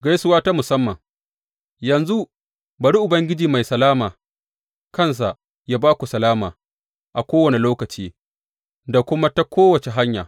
Gaisuwa ta musamman Yanzu, bari Ubangiji mai salama kansa yă ba ku salama a kowane lokaci da kuma a ta kowace hanya.